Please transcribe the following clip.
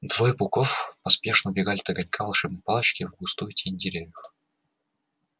двое пауков поспешно убегали от огонька волшебной палочки в густую тень деревьев